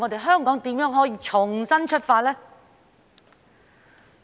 香港如何重新出發呢？